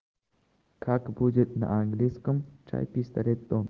как будет на английском чай пистолет